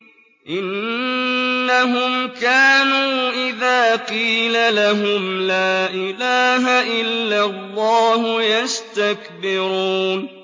إِنَّهُمْ كَانُوا إِذَا قِيلَ لَهُمْ لَا إِلَٰهَ إِلَّا اللَّهُ يَسْتَكْبِرُونَ